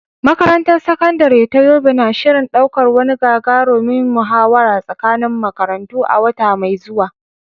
Makarantar Sakandare ta Yobe na shirin ɗaukar wani gagarumin muhawara tsakanin makarantu a wata mai zuwa.